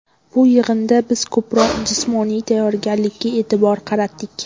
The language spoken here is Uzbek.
Bu yig‘inda biz ko‘proq jismoniy tayyorgarlikka e’tibor qaratdik.